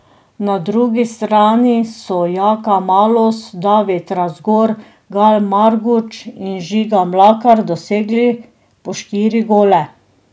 Na drugi strani so Jaka Malus, David Razgor, Gal Marguč in Žiga Mlakar dosegli po štiri gole.